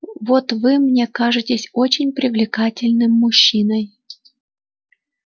вот вы мне кажетесь очень привлекательным мужчиной